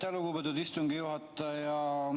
Aitäh, lugupeetud istungi juhataja!